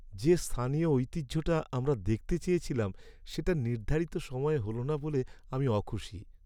যে স্থানীয় ঐতিহ্যটা আমরা দেখতে চেয়েছিলাম সেটা নির্ধারিত সময়ে হল না বলে আমি অখুশি।